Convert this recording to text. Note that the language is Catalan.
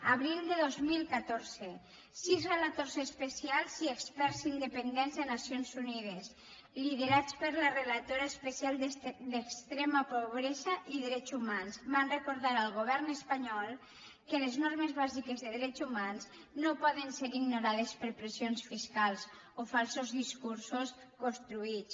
abril de dos mil catorze sis relators especials i experts independents de nacions unides liderats per la relatora especial d’extrema pobresa i drets humans van recordar al govern espanyol que les normes bàsiques de drets humans no poden ser ignorades per pressions fiscals o falsos discursos construïts